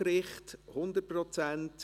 Damit ist die Vereidigung beendet.